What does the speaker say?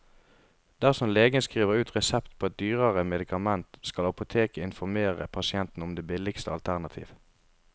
Dersom legen skriver ut resept på et dyrere medikament, skal apoteket informere pasienten om det billigste alternativ.